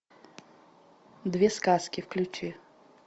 две сказки включи